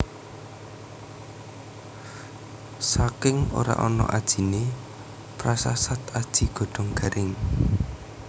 Saking ora ana ajiné prasasat aji godhong garing